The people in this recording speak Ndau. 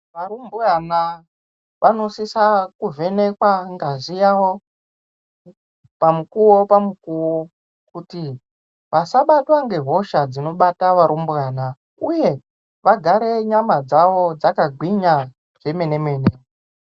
Varumbwana vanosisa kuvenekwa ngazi yavo pamukuwo pamukuwo kuti vasabatwa ngehosha dzinobata varumbwana uye vagare nyama dzawo dzakagwinya kwemene mene.